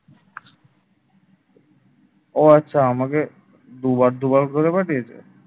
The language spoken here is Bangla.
ও আচ্ছা আমাকে দুবার দুবার করে পাঠিয়েছে ।